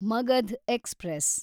Magadh express